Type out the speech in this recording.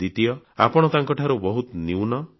ଦ୍ୱିତୀୟ ଆପଣ ତାଙ୍କଠାରୁ ବହୁତ ନ୍ୟୁନ